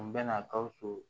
N bɛna gawusu